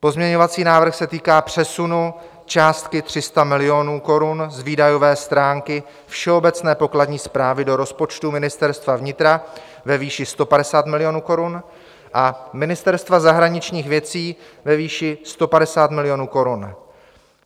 Pozměňovací návrh se týká přesunu částky 300 milionů korun z výdajové stránky všeobecné pokladní správy do rozpočtu Ministerstva vnitra ve výši 150 milionů korun a Ministerstva zahraničních věcí ve výši 150 milionů korun.